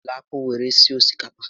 Ejila akpụ were sie osikapa!